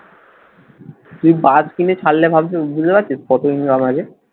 তুই বাস কিনে ছাড়লে ভাবছিস বুঝতে পারছিস কত income আছে?